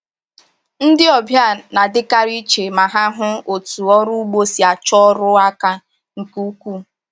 Ndi ọbịa na-adịkarị iche ma hụ otú ọrụ ugbo si achọ ọrụ aka nke ukwuu.